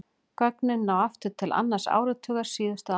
Gögnin ná aftur til annars áratugar síðustu aldar.